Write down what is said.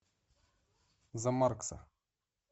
за маркса